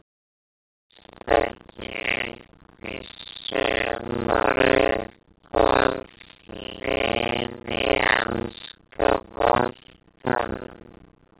Komast ekki upp í sumar Uppáhalds lið í enska boltanum?